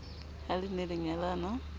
ha le ne le nyalana